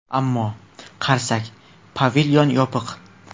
Ammo... qarasak, pavilyon yopiq.